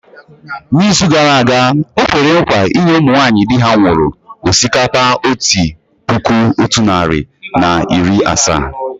N’izu gara aga, o kwere nkwa inye ụmụ nwaanyị di ha nwụrụ osikapa otu puku otu narị na iri asaa.